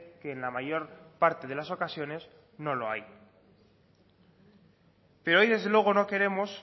que en la mayor parte de las ocasiones no lo hay pero hoy desde luego no queremos